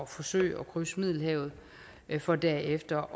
forsøge at krydse middelhavet for derefter